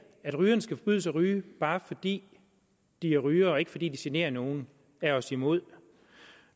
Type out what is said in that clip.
at rygerne skal forbydes at ryge bare fordi de er rygere og ikke fordi de generer nogen er os imod